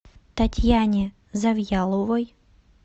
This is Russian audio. татьяне завьяловой